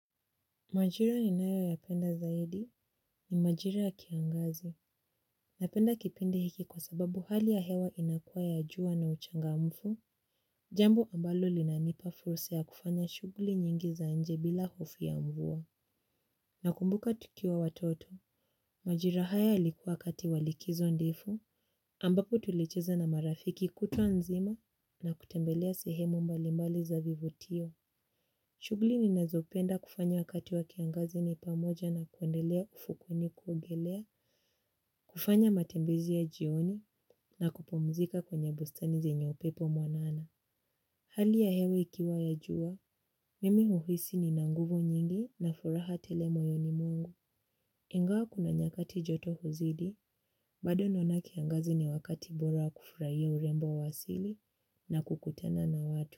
Majira ninayoyapenda zaidi ni majira ya kiangazi. Napenda kipindi hiki kwa sababu hali ya hewa inakua ya jua na uchangamfu. Jambo ambalo linanipa fursa ya kufanya shughuli nyingi za nje bila hofu ya mvua. Nakumbuka tukiwa watoto. Majira haya yalikuwa wakati wa likizo ndefu. Ambapo tulicheza na marafiki kutwa nzima na kutembelea sehemu mbalimbali za vivutio. Shughuli ninazopenda kufanya wakati wa kiangazi ni pamoja nakutembelea ufukweni kuogelea, kufanya matembezi ya jioni na kupumzika kwenye bustani zenye upepo mwanana. Hali ya hewe ikiwa ya jua, mimi huhisi nina nguvu nyingi na furaha tele moyoni mwangu. Ingawa kuna nyakati joto huzidi, bado naona kiangazi ni wakati bora kufurahia urembo wa asili na kukutana na watu.